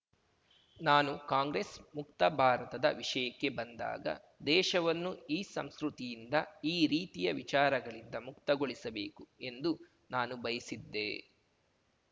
ನಾನು ಕಾಂಗ್ರೆಸ್‌ ಮುಕ್ತ ಭಾರತದ ವಿಷಯಕ್ಕೆ ಬಂದಾಗ ದೇಶವನ್ನು ಈ ಸಂಸ್ಕೃತಿಯಿಂದ ಈ ರೀತಿಯ ವಿಚಾರಗಳಿಂದ ಮುಕ್ತಗೊಳಿಸಬೇಕು ಎಂದು ನಾನು ಬಯಸಿದ್ದೆ